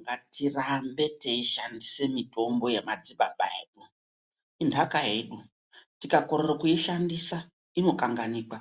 Ngatirambe teishandisa mitombo yemadzibaba edu intaka yedu, tikakorere kuishandisa inokanganikwa